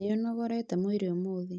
Nĩũnogorete mwĩrĩ ũmũthĩ?